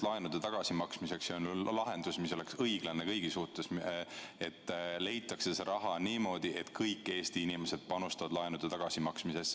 Laenude tagasimaksmiseks on olemas lahendus, mis on õiglane kõigi suhtes: see raha leitakse niimoodi, et kõik Eesti inimesed panustavad laenude tagasimaksmisse.